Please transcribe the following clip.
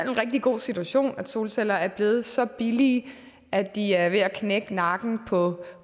rigtig god situation altså at solceller er blevet så billige at de er ved at knække nakken på